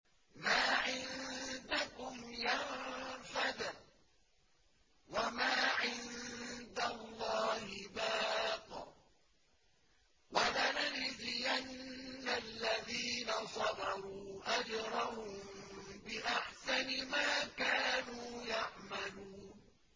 مَا عِندَكُمْ يَنفَدُ ۖ وَمَا عِندَ اللَّهِ بَاقٍ ۗ وَلَنَجْزِيَنَّ الَّذِينَ صَبَرُوا أَجْرَهُم بِأَحْسَنِ مَا كَانُوا يَعْمَلُونَ